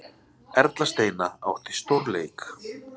Erla Steina átti stórleik